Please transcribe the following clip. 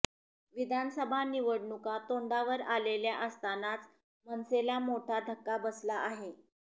विधानसभा निवडणुका तोडांवर आलेल्या असतानाच मनसेला मोठा धक्का बसला आहे